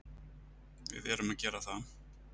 Við erum að gera það.